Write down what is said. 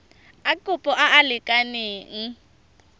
a kopo a a lekaneng